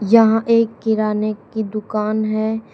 यहां एक किराने की दुकान है।